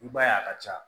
I b'a ye a ka ca